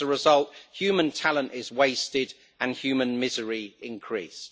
As a result, human talent is wasted and human misery increased.